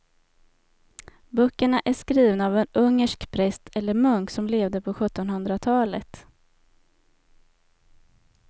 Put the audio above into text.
Böckerna är skrivna av en ungersk präst eller munk som levde på sjuttonhundratalet.